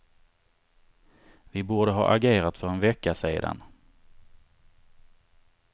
Vi borde ha agerat för en vecka sedan.